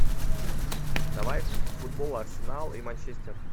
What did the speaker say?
давай футбол арсенал и манчестер